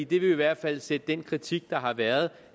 det vil i hvert fald sætte den kritik der har været